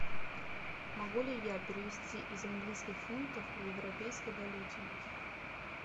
могу ли я перевести из английских фунтов в европейской валюте